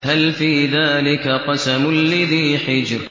هَلْ فِي ذَٰلِكَ قَسَمٌ لِّذِي حِجْرٍ